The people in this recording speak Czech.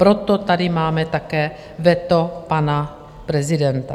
Proto tady máme také veto pana prezidenta.